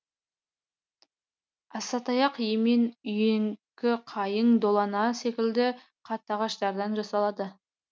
асатаяқ емен үйеңкі қайың долана секілді қатты ағаштардан жасалады